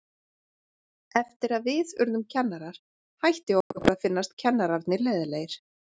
Eftir að við urðum kennarar hætti okkur að finnast kennararnir leiðinlegir.